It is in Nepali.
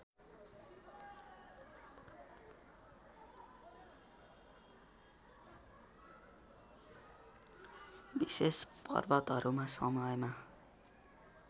विशेष पर्वहरूको समयमा